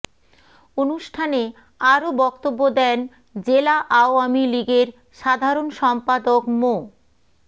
অনুষ্ঠানে আরো বক্তব্য দেন জেলা আওয়ামী লীগের সাধারণ সম্পাদক মো